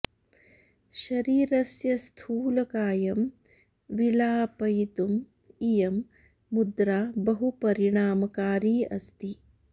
शरीरस्य स्थूलकायं विलापयितुं इयं मुद्रा बहु परिणामकारी अस्ति